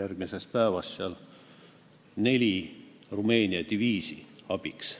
järgmisest päevast neli Rumeenia diviisi abiks.